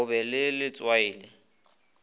go ba le letswai le